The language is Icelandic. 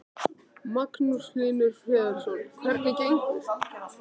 Magnús Hlynur Hreiðarsson: Hvernig gengur?